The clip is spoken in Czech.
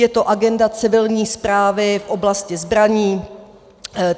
Je to agenda civilní správy v oblasti zbraní.